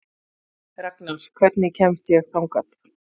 Ragnar, hvernig kemst ég þangað?